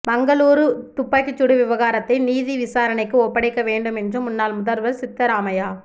மங்களூரு துப்பாக்கிச்சூடு விவகாரத்தை நீதிவிசாரணைக்கு ஒப்படைக்க வேண்டும் என்று முன்னாள் முதல்வா் சித்தராமையா